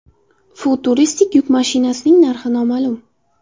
Futuristik yuk mashinasining narxi noma’lum.